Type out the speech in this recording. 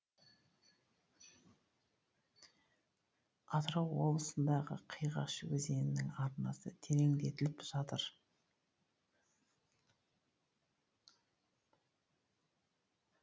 атырау облысында қиғаш өзенінің арнасы тереңдетіліп жатыр